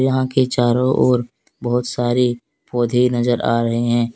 यहॉं के चारो ओर बहुत सारे पौधे नजर आ रहे हैं।